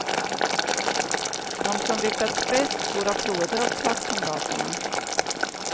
De som lyckats bäst får applåder av klasskamraterna.